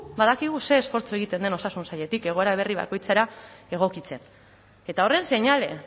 badakigu ze esfortzua egiten den osasun sailetik egoera berri bakoitzera egokitzen eta horren seinale